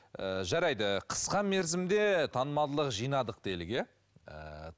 ыыы жарайды қысқа мерзімде танымалдылық жинадық делік иә ііі